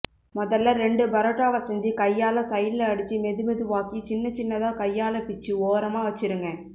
மொதல்ல ரெண்டு பரோட்டாவை செஞ்சு கையால சைடுல அடிச்சு மெதுமெதுவாக்கி சின்னச்சின்னதா கையால பிச்சு ஓரமா வைச்சிருங்க